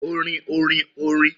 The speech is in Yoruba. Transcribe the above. Orin orin orin orin